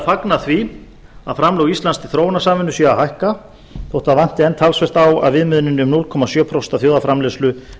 fagna því að framlög íslands til þróunarsamvinnu séu að hækka þótt það vanti enn talsvert á að viðmiðunin um núll komma sjö prósent af þjóðarframleiðslu